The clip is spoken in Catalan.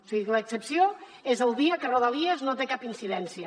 o sigui que l’excepció és el dia que rodalies no té cap incidència